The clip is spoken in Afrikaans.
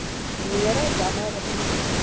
mere damme riviere